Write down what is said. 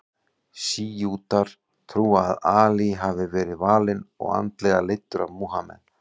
Sjítar trúa að Ali hafi verið valinn og andlega leiddur af Múhameð.